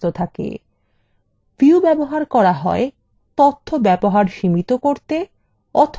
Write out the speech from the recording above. views ব্যবহার করা হয় তথ্য ব্যবহার সীমিত করতে